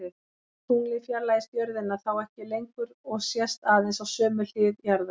Tunglið fjarlægist jörðina þá ekki lengur og sést aðeins á sömu hlið jarðar.